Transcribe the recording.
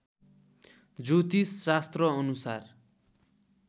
ज्योतिष शास्त्र अनुसार